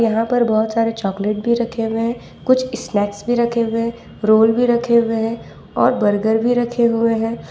यहां पर बहुत सारे चॉकलेट भी रखे हुए हैं कुछ स्नैक्स भी रखे हुए हैं रोल भी रखे हुए हैं और बर्गर भी रखे हुए हैं।